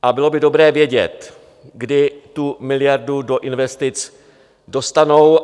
A bylo by dobré vědět, kdy tu miliardu do investic dostanou.